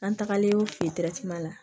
An tagalen la